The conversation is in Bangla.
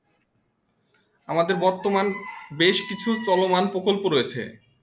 আমাদের বর্তমান বেশ কিছু চলমান প্রকল্প রয়েছে